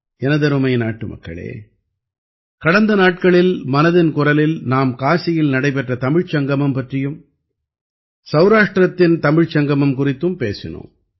எனதருமை நாட்டுமக்களே கடந்த நாட்களில் மனதின் குரலில் நாம் காசியில் நடைபெற்ற தமிழ்ச்சங்கமம் பற்றியும் சௌராஷ்டிரத்தின் தமிழ்ச் சங்கமம் குறித்தும் பேசினோம்